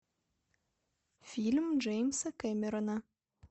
фильм джеймса кэмерона